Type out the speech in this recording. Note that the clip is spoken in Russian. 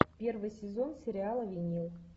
первый сезон сериала винил